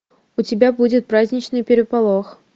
у тебя будет праздничный переполох